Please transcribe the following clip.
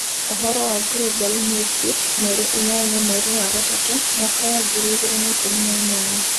Ũhoro wa Global Newsbeat mweri inyanya mweri wa gatatũ mwaka wa ngiri igĩrĩ na ikũmi na inyanya.